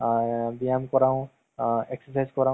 movies টো চাই পেলাই মানে কিবাহে ভাল লাগে বুজিলা।